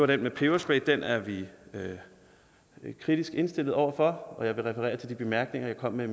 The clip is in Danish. den med peberspray den er vi kritisk indstillet over for og jeg vil referere til de korte bemærkninger jeg kom med